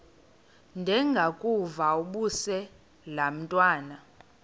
ndengakuvaubuse laa ntwana